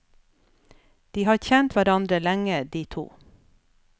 De har kjent hverandre lenge, de to.